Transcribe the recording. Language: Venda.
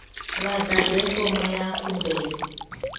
vha ḓadze fomo ya khumbelo